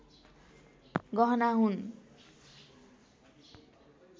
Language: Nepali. गहना हुन्